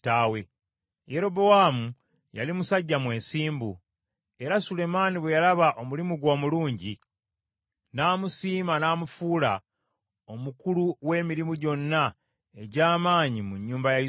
Yerobowaamu yali musajja mwesimbu, era Sulemaani bwe yalaba omulimu gwe omulungi, n’amusiima n’amufuula omukulu w’emirimu gyonna egy’amaanyi mu nnyumba ya Yusufu.